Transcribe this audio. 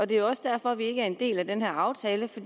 det er også derfor vi ikke er en del af den her aftale for